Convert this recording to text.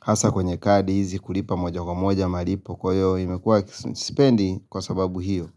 hasa kwenye kadi hizi kulipa moja kwa moja malipo kwa hiyo imekuwa sipendi kwa sababu hiyo.